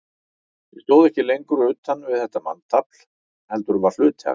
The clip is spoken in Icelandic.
Ég stóð ekki lengur utan við þetta manntafl, heldur var hluti af því.